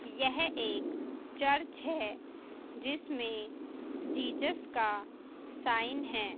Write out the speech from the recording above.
यह एक चर्च है जिसमें जीसस का साइन है।